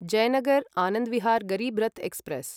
Jaynagar Anand Vihar Garib Rath express